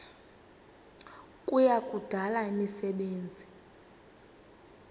kuya kudala imisebenzi